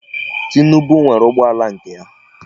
Tinubu nwere ụgbọala nke ya.